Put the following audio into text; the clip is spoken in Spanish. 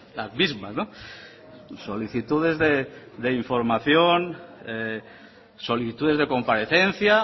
las mismas solicitudes de información solicitudes de comparecencia